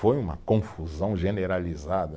Foi uma confusão generalizada.